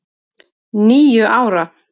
Níu ára!